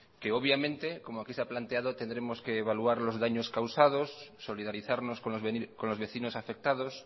obviamente como aquí se ha planteado tendremos que evaluar los daños causados solidarizarnos con los vecinos afectados